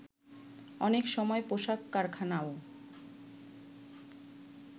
অনেক সময় পোশাক কারখানাও